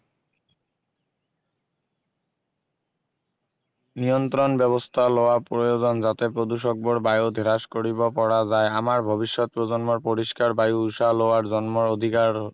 নিয়ন্ত্ৰণ ব্যৱস্থা লোৱা প্ৰয়োজন যাতে প্ৰদূষকবোৰ বায়ুত হ্ৰাস কৰিব পৰা যাই আমাৰ ভৱিষ্যত প্ৰজন্মৰ পৰিষ্কাৰ বায়ু উশাহ লোৱাৰ জন্ম অধিকাৰ